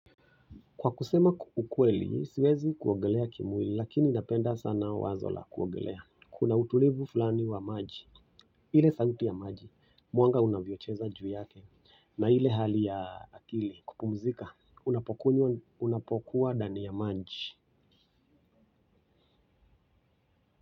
Kwa kusema ukweli, siwezi kuogelea kimwili, lakini napenda sana wazo la kuogelea. Kuna utulivu fulani wa maji. Ile sauti ya maji, mwanga unavyocheza juu yake, na ile hali ya akili, kupumzika, unapokuwa ndani ya maji.